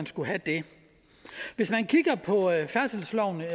skulle have det hvis man kigger på færdselsloven vil